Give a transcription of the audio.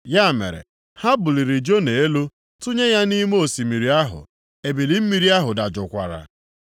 Ya mere, ha buliri Jona elu tụnye ya nʼime osimiri ahụ, ebili mmiri ahụ dajụkwara.